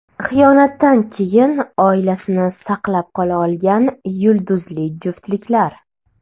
Xiyonatdan keyin oilasini saqlab qola olgan yulduzli juftliklar.